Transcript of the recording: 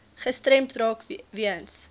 gestremd raak weens